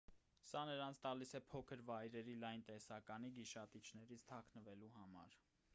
սա նրանց տալիս է փոքր վայրերի լայն տեսականի գիշատիչներից թաքնվելու համար